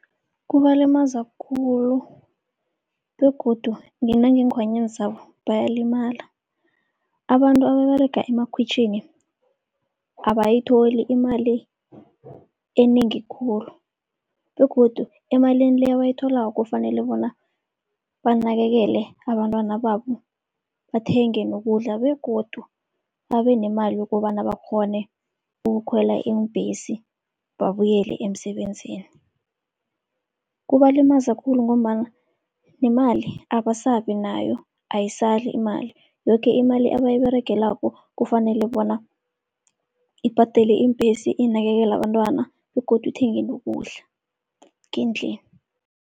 Kubalimaza khulu begodu nangenkhwanyeni zabo bayalimala. Abantu ababerega emakhwitjhini abayitholi imali enengi khulu begodu emalini le abayitholako, kufanele bona banakekele abantwana babo, bathenge nokudla begodu babe nemali yokobana bakghone ukukhwela iimbhesi babuyele emsebenzini. Kubalimaza khulu ngombana nemali abasabi nayo, ayisali imali, yoke imali abayiberegelako kufanele bona ibhadele iimbhesi, inakekele abantwana begodu ithenge nokudla ngendlini.